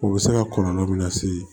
O bɛ se ka kɔlɔlɔ min lase